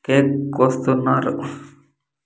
Cake కోస్తున్నారు.